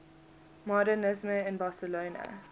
modernisme in barcelona